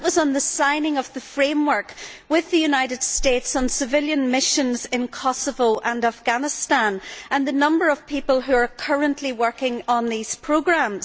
That was on the signing of the framework with the United States on civilian missions in Kosovo and Afghanistan and the number of people who are currently working on these programmes.